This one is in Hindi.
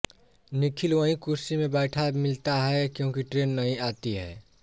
निखिल वहीं कुर्सी में बैठा मिलता है क्योंकि ट्रेन नहीं आती है